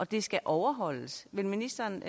det skal overholdes vil ministeren